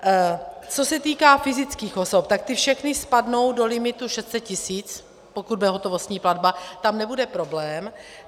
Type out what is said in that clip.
Co se týká fyzických osob, tak ty všechny spadnou do limitu 600 tisíc, pokud bude hotovostní platba, tam nebude problém.